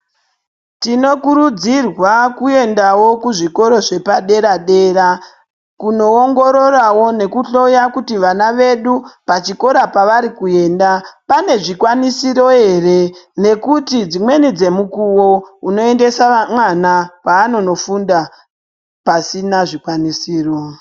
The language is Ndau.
Tinokurudzirwa kuendawo kuzvikora zvepadera dera kunoongororawo nekuhloya kuti vana vedu kwavari kuenda pane zvikwanisiro here nekuti dzimweni dzemukuwo unoendesa mwana paano nofunda pasina zvikwanisiro.